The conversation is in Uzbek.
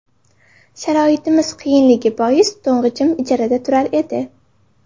Sharoitimiz qiyinligi bois to‘ng‘ichim ijarada turar edi.